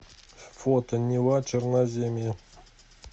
фото нива черноземья